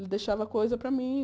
Ele deixava coisa para mim.